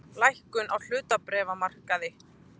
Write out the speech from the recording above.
Lækkun á hlutabréfamarkaði